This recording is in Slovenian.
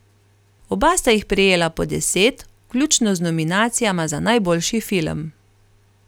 Oba sta jih prejela po deset, vključno z nominacijama za najboljši film.